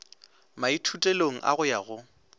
maithutelong a go ya go